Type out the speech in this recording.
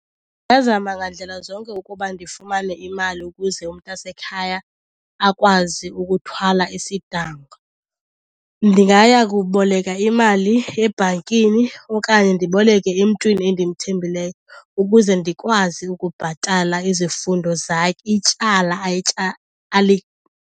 Ndingazama ngandlela zonke ukuba ndifumane imali ukuze umntasekhaya akwazi ukuthwala isidanga. Ndingaya kuboleka imali ebhankini okanye ndiboleke emntwini endimthembileyo ukuze ndikwazi ukubhatala izifundo ityala .